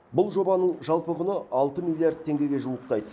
бұл жобаның жалпы құны алты миллиард теңгеге жуықтайды